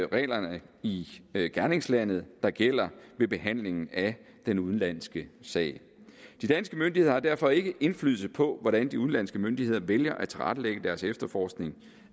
reglerne i gerningslandet der gælder ved behandlingen af den udenlandske sag de danske myndigheder har derfor ikke indflydelse på hvordan de udenlandske myndigheder vælger at tilrettelægge deres efterforskning